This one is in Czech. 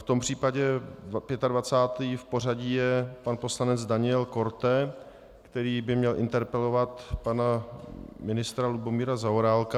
V tom případě 25. v pořadí je pan poslanec Daniel Korte, který by měl interpelovat pana ministra Lubomíra Zaorálka.